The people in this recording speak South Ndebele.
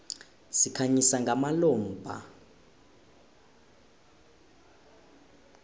sikhanyisa ngamalombha